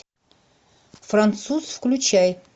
француз включай